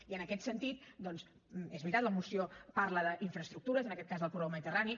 i en aquest sentit doncs és veritat la moció parla d’infraestructures en aquest cas del corredor mediterrani